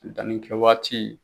Danni kɛ waati.